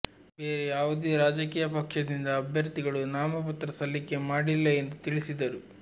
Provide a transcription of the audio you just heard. ಬೇರೆ ಯಾವುದೇ ರಾಜಕೀಯ ಪಕ್ಷದಿಂದ ಅಭ್ಯರ್ಥಿಗಳು ನಾಮಪತ್ರ ಸಲ್ಲಿಕೆ ಮಾಡಿಲ್ಲ ಎಂದು ತಿಳಿಸಿದರು